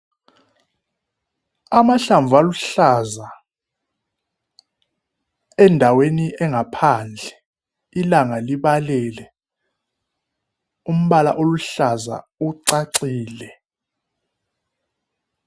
Amahlamvu aluhlaza endaweni engaphandle ilanga libalele umbala oluhlaza ucacile